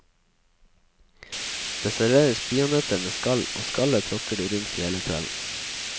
Det serveres peanøtter med skall, og skallet tråkker du rundt i hele kvelden.